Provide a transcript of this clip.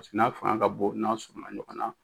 n'a fanga ka bon n'a fana.